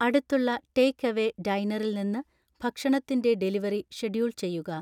അടുത്തുള്ള ടേക്ക്അവേ ഡൈനറിൽ നിന്ന് ഭക്ഷണത്തിന്റെ ഡെലിവറി ഷെഡ്യൂൾ ചെയ്യുക